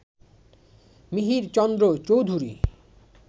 Mihirchandra Chowdhury